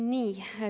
Nii.